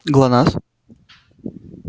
глонассс